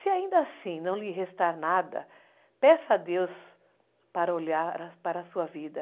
Se ainda assim não lhe restar nada, peça a Deus para olhar para a sua vida.